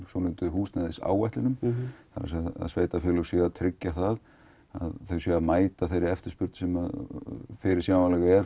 húsnæðisáætlunum að sveitarfélög séu að tryggja það að þau séu að mæta þeirri eftirspurn sem er fyrirséð